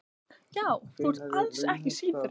Já, þú ert alls ekki síðri.